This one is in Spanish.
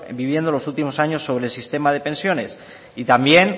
viviendo en los últimos años sobre el sistema de pensiones y también